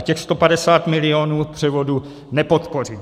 A těch 150 milionů převodu nepodpořím.